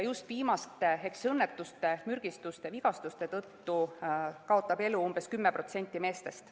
Just viimaste ehk õnnetuste, mürgistuste ja vigastuste tõttu kaotab elu umbes 10% meestest.